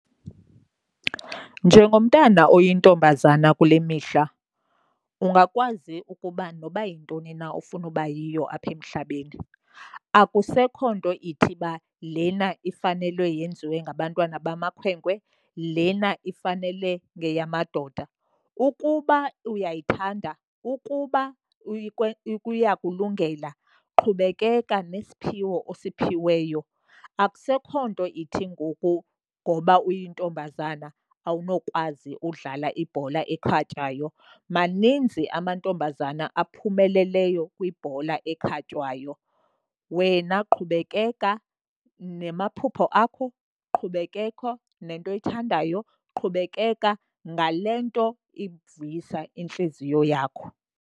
Njengomntana oyintombazane kule mihla ungakwazi ukuba noba yintoni na ofuna ubayiyo apha emhlabeni. Akusekho nto ithi uba lena ifanelwe yenziwe ngabantwana bamakhwenkwe, lena ifanele ngeyamadoda. Ukuba uyayithanda, ukuba iyakulungela, qhubekeka nesiphiwo osiphiweyo. Akusekho nto ithi ngoku ngoba uyintombazana awunokwazi udlala ibhola ekhatywayo. Maninzi amantombazana aphumeleleyo kwibhola ekhatywayo. Wena qhubekeka namaphupha akho qhubekeka nento oyithandayo, qhubekeka ngale nto ivuyisa intliziyo yakho.